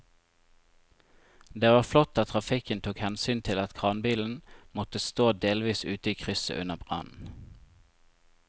Det var flott at trafikken tok hensyn til at kranbilen måtte stå delvis ute i krysset under brannen.